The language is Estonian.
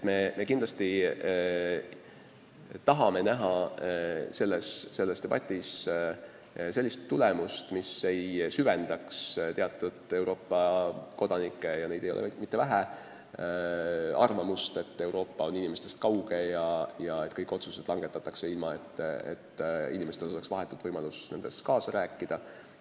Me kindlasti tahame, et see debatt lõppeks tulemusega, mis ei süvendaks teatud hulga Euroopa Liidu kodanike – ja neid ei ole vähe – arvamust, et Euroopa Liit on inimestest kauge ühendus ja kõik otsused langetatakse ilma, et inimestel oleks vahetult võimalus nendes kaasa rääkida.